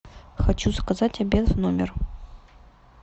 хочу заказать обед в номер